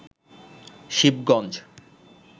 Shibganj